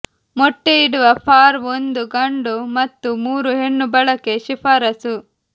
ಮೊಟ್ಟೆಯಿಡುವ ಫಾರ್ ಒಂದು ಗಂಡು ಮತ್ತು ಮೂರು ಹೆಣ್ಣು ಬಳಕೆ ಶಿಫಾರಸು